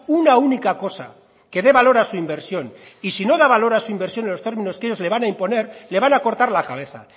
una única cosa que de valor a su inversión y sí no da valor a su inversión en los términos que ellos le van a imponer le van a cortar la cabeza